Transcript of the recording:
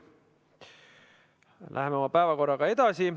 Läheme oma päevakorraga edasi.